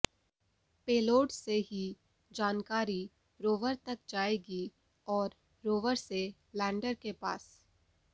payload से ही जानकारी रोवर तक जाएगी और रोवर से लैंडर के पास